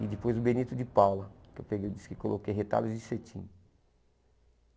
E depois o Benito de Paula, que eu peguei eu disse que coloquei retalhos de cetim.